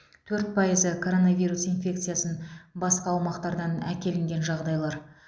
төрт пайызы коронавирус инфекциясын басқа аумақтардан әкелінген жағдайлар